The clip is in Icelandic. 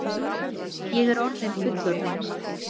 Ég er orðin fullorðin.